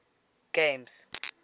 games